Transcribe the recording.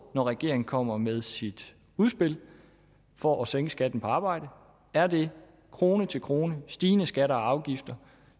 når regeringen kommer med sit udspil for at sænke skatten på arbejde er det krone til krone stigende skatter og afgifter